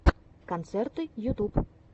концерты ютюб